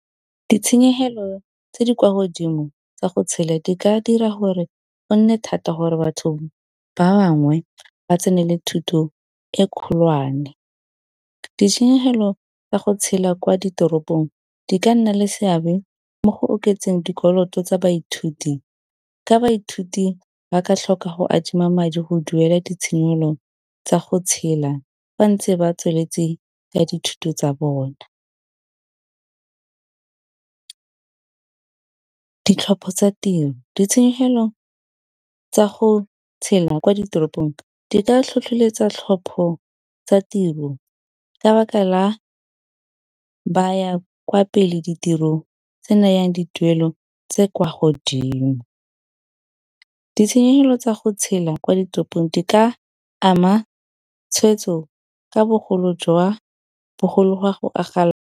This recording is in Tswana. Ditshenyegelo tse di kwa godimo tsa go tshela di ka dira gore go nne thata gore batho ba bangwe ba tsenele thuto e kgolwane. Ditshenyegelo tsa go tshela kwa ditoropong di ka nna le seabe mo go oketseng dikoloto tsa baithuti, ka baithuti ba ka tlhoka go adima madi go duela ditshenyegelo tsa go tshela ba ntse ba tsweletse ka dithuto tsa bona. Ditlhopho tsa tiro ditshenyegelo tsa go tshela kwa ditoropong di ka tlhotlholetsa tlhopho tsa tiro ka 'baka la ba ya kwa pele ditirong tse nayang dituelo tse kwa godimo, ditshenyegelo tsa go tshela kwa ditoropong di ka ama tshweetso ka bogolo jwa .